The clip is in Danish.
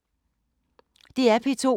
DR P2